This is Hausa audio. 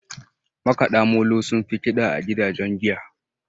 Makada molo sun fi Kida a gidajen giya.